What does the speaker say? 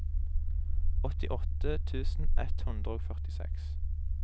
åttiåtte tusen ett hundre og førtiseks